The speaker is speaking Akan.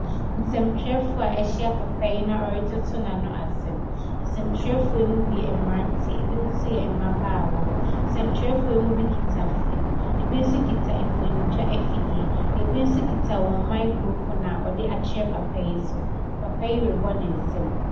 Nsɛntwerɛfoɔ a wɔahyia papa yi na wɔretoto n'ano asɛm. Nsɛntwerɛfoɔ yi mu bi yɛ mmeranteɛ, ebinon nso yɛ mmabaawa. Nsɛntwerɛfoɔ yi mu bi kita phone, ebi nso kita mfonintwa afidie, ebi nso kita wɔn microphone a wɔde akyerɛ papa yi so. Papa yi rebɔ ne nsam.